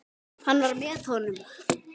Hann var með honum!